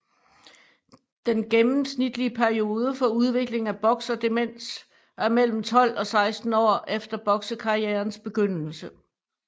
Den gennemsnitlige periode for udviklingen af bokserdemens er mellem 12 og 16 år efter boksekarrierens begyndelse